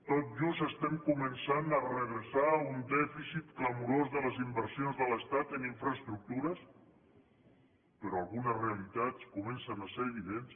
tot just estem començant a redreçar un dèficit clamorós de les inver sions de l’estat en infraestructures però algunes realitats comencen a ser evidents